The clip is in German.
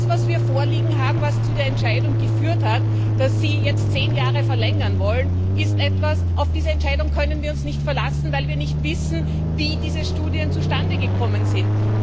Denn das, was wir vorliegen haben, was zu der Entscheidung geführt hat, dass Sie jetzt um zehn Jahre verlängern wollen auf diese Entscheidung können wir uns nicht verlassen, weil wir nicht wissen, wie diese Studien zustande gekommen sind.